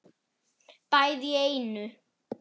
Bæði í einu.